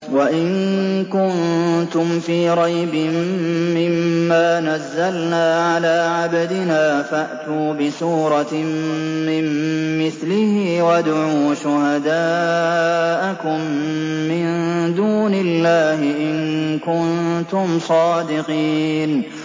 وَإِن كُنتُمْ فِي رَيْبٍ مِّمَّا نَزَّلْنَا عَلَىٰ عَبْدِنَا فَأْتُوا بِسُورَةٍ مِّن مِّثْلِهِ وَادْعُوا شُهَدَاءَكُم مِّن دُونِ اللَّهِ إِن كُنتُمْ صَادِقِينَ